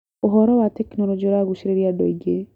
ũhoro wa tekinoronjĩ ũragucĩrĩria andũ aingĩ.